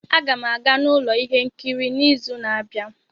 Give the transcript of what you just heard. A ga m aga n'ụlọ ihe nkiri n'izu na-abịa